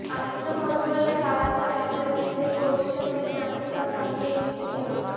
انجم مدگل نے خواتین رائفل تیسرے پوزیشن میں چاندی کا تمغے جیت لیا